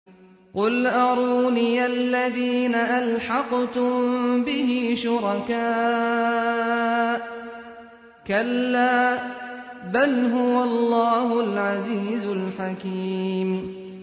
قُلْ أَرُونِيَ الَّذِينَ أَلْحَقْتُم بِهِ شُرَكَاءَ ۖ كَلَّا ۚ بَلْ هُوَ اللَّهُ الْعَزِيزُ الْحَكِيمُ